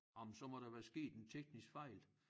Ej men så der være sket en teknisk fejl